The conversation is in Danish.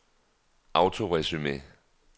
autoresume